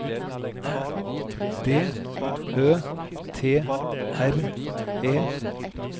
D Ø T R E